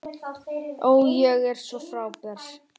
Ó, ég er svo frábær.